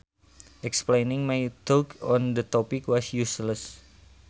Explaining my thoughts on the topic was useless